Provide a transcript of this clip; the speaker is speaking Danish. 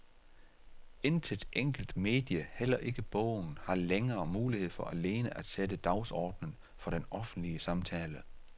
Intet enkelt medie, heller ikke bogen, har længere mulighed for alene at sætte dagsordenen for den offentlige samtale.